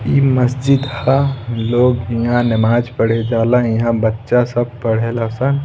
इ मस्जिद ह लोग इहाँ नमाज़ पढ़े जाला इहाँ बच्चा सब पढ़े ला सन।